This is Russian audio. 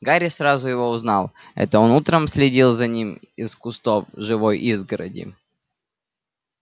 гарри сразу его узнал это он утром следил за ним из кустов живой изгороди